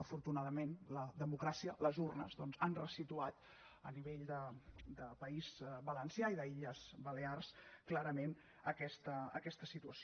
afortunadament la democràcia les urnes doncs han ressituat a nivell de país valencià i d’illes balears clarament aquesta situació